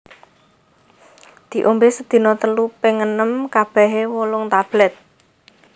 Diombé sedina telu ping enem kabehe wolung tablèt